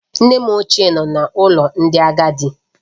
Nne m ochie nọ n'ụlọ ndị agadi